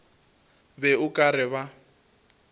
be o ka re ba